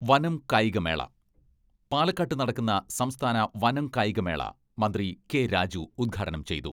വനം കായികമേള പാലക്കാട്ട് നടക്കുന്ന സംസ്ഥാന വനം കായികമേള മന്ത്രി കെ.രാജു ഉദ്ഘാടനം ചെയ്തു.